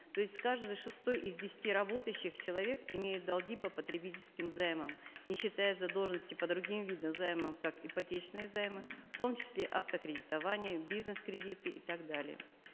то есть каждый шестой из десяти работающих человек имеет долги по потребительским займам не считая задолженности по другим видам займов как ипотечные займы в том числе автокредитование бизнес кредиты и так далее